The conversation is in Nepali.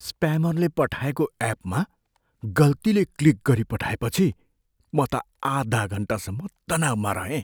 स्प्यामरले पठाएको एपमा गल्तीले क्लिक गरिपठाएपछि म त आधा घन्टासम्म तनावमा रहेँ।